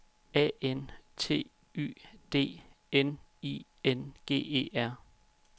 A N T Y D N I N G E R